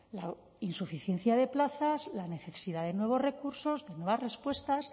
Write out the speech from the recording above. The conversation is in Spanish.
la insuficiencia de plazas la necesidad de nuevos recursos de nuevas respuestas